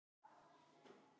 En hvað dreif þær áfram?